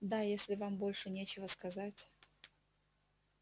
да если вам больше нечего сказать